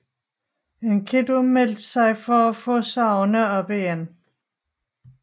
Enkidu meldte sig for at få sagerne op igen